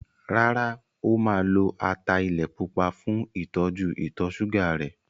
Rárá, o máa lo ata ilẹ̀ pupa fún ìtọ́jú ìtọ̀ ṣúgà rẹ̀.